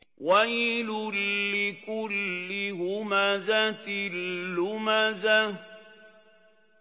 وَيْلٌ لِّكُلِّ هُمَزَةٍ لُّمَزَةٍ